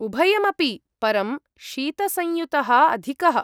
उभयमपि, परं शीतसंयुतः अधिकः।